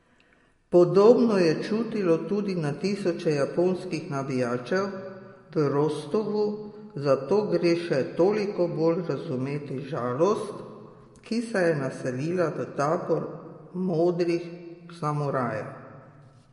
Podobno je čutilo tudi na tisoče japonskih navijačev v Rostovu, zato gre še toliko bolj razumeti žalost, ki se je naselila v tabor modrih samurajev.